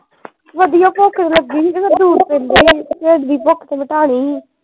ਵਧੀਆ ਭੁੱਖ ਵੀ ਲੱਗੀ ਹੀ ਫੇਰ ਦੂਰ ਪੈਦਾਂ ਹੀ ਫੇਰ ਢਿੱਡ ਦੀ ਭੁਕ ਵੀ ਮਿਟਾਨੀ ਹੀ।